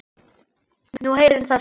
Nú heyrir það sögunni til.